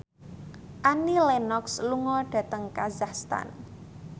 Annie Lenox lunga dhateng kazakhstan